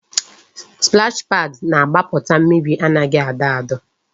Splash paad na-agbaputa mmiri anaghị adọ adọ